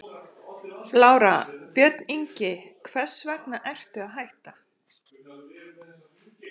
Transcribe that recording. Lára: Björn Ingi, hvers vegna ertu að hætta?